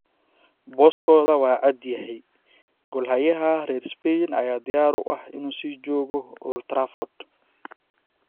booskooda waa cad yahay - goolhayaha reer Spain ayaa diyaar u ah inuu sii joogo Old Trafford.